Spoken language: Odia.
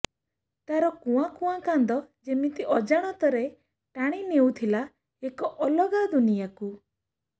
ତାର କୁଆଁ କୁଆଁ କାନ୍ଦ ଯେମିତି ଅଜାଣତରେ ଟାଣି ନେଉଥିଲା ଏକ ଅଲଗା ଦୁନିଆକୁ